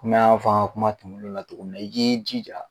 komi an y'a fɔ ab ka kuma tɛmɛnenw na cogo min na i b'i jija